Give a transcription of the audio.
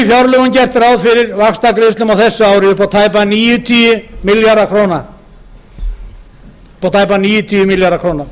fjárlögum gert ráð fyrir vaxtagreiðslum á þessu ári upp á tæpa níutíu milljarða króna